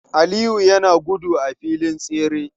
Aliyu yana gudu a filin tsere.